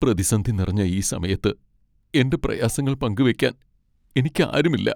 പ്രതിസന്ധി നിറഞ്ഞ ഈ സമയത്ത് എൻ്റെ പ്രയാസങ്ങൾ പങ്കുവയ്ക്കാൻ എനിക്ക് ആരുമില്ല.